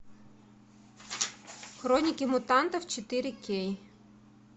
хроники мутантов четыре кей